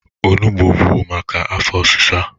Onụgbọ bụ maka afọ ọsịsa.